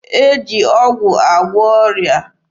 E ji ọgwụ agwọ ọrịa.